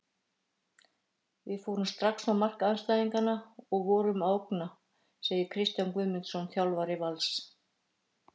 Við fórum strax á mark andstæðingana og vorum að ógna, segir Kristján Guðmundsson, þjálfari Vals.